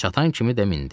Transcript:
Çatan kimi də mindi.